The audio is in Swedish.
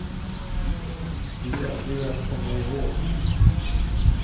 Det gällde ju att komma ihåg.